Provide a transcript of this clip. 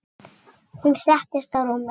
Hún settist á rúmið.